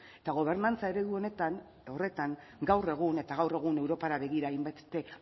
eta gobernantza eredu honetan horretan gaur egun eta gaur egun europara begira hainbeste